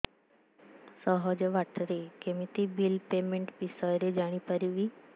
ସହଜ ବାଟ ରେ କେମିତି ବିଲ୍ ପେମେଣ୍ଟ ବିଷୟ ରେ ଜାଣି ପାରିବି